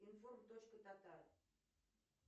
информ точка татар